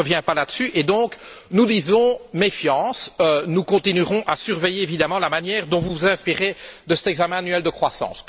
Je ne reviens pas là dessus et nous disons donc méfiance. Nous continuerons à surveiller évidemment la manière dont vous vous inspirez de cet examen annuel de croissance.